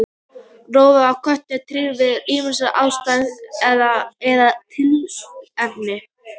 Rófan á köttum titrar við ýmsar aðstæður eða tilefni.